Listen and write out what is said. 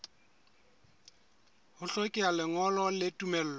ho hlokeha lengolo la tumello